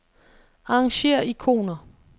Arrangér ikoner.